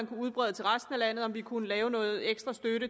kunne udbrede til resten af landet og om vi kunne lave noget ekstra støtte